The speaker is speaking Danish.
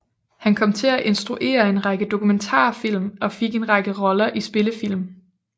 Han kom til at instruere en række dokumentarfilm og fik en række roller i spillefilm